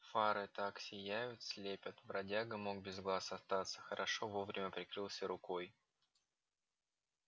фары так сияют слепят бродяга мог без глаз остаться хорошо вовремя прикрылся рукой